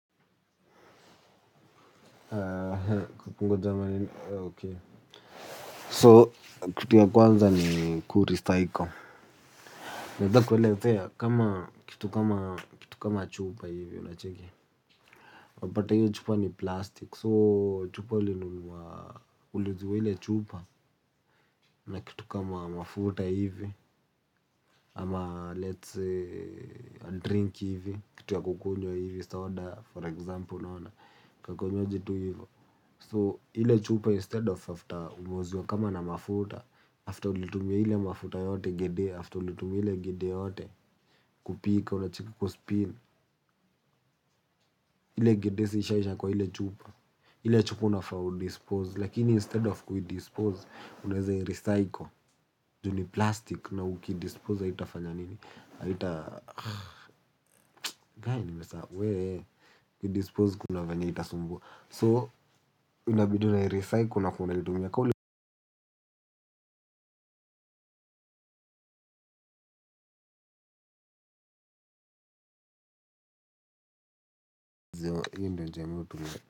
Haa haa kukungo jamani ok so kitu ya kwanza ni kurecycle naeza kuelezea kama kitu kama kitu kama chupa hivi unacheki unapata hio chupa ni plastic so chupa ulinunua uliuziwa ile chupa na kitu kama mafuta hivi ama let's say a drink hivi kitu ya kukunywa hivi soda for example naona kakinywaji tu hivo So, ile chupa instead of after umeuziwa kama na mafuta, after ulitumia ile mafuta yote gede, after ulitumia ile gede yote kupika, unacheki kuspin, ile gede si ishaisha kwa ile chupa, ile chupa unafaa udispose, lakini instead of kuidispose, unaeza irecycle, juu ni plastic, na ukidispose haitafanya nini? Haitafanya nini? Gai nimesahau, wee, kudispose kuna venye itasumbua. So, inabidi unairecycle unakuwa unaitumia ka uli io ndio njia mi huitumia.